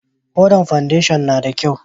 Hodan fandesho na da kyau?